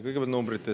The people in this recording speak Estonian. Kõigepealt numbritest.